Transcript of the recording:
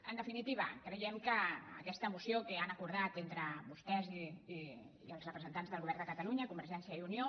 en definitiva creiem que aquesta moció que han acor·dat entre vostès i els representants del govern de ca·talunya convergència i unió